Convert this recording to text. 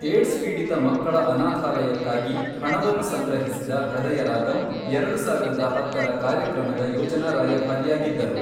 AIDS ಪೀಡಿತ ಮಕ್ಕಳ ಅನಾಥಾಲಯಕ್ಕಾಗಿ ಹಣವನ್ನು ಸಂಗ್ರಹಿಸಿದ ಹೃದಯರಾಗಮ್ ಎರಡು ಸಾವಿರದ ಹತ್ತರ ಕಾರ್ಯಕ್ರಮದ ಯೋಜನಾ ರಾಯಭಾರಿಯಾಗಿದ್ದರು.